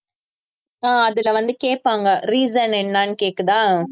ஆஹ் அதுல வந்து கேப்பாங்க reason என்னன்னு கேக்குதா